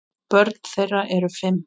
Börn þeirra eru fimm.